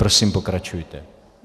Prosím, pokračujte.